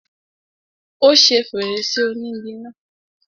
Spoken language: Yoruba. Ó ṣe fèrèsé ònígi náà.